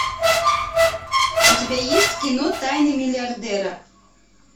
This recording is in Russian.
у тебя есть кино тайны миллиардера